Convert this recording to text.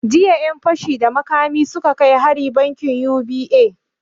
Jiya ƴan fashi da makami suka kai hari bankin U.B.A